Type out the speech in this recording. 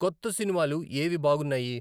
కొత్త సినిమాలు ఏవి బాగున్నాయి